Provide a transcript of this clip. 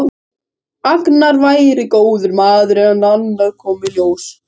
Agnar væri góður maður en annað kom í ljós.